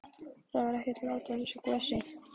Það er ekkert lát á þessu gosi?